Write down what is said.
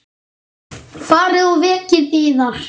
Farið og vekið manninn yðar.